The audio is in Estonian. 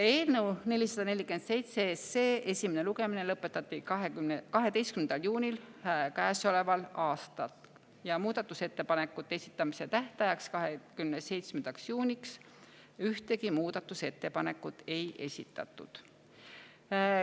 Eelnõu 447 esimene lugemine lõpetati 12. juunil käesoleval aastal ja muudatusettepanekute esitamise tähtajaks, 27. juuniks ühtegi muudatusettepanekut ei esitatud.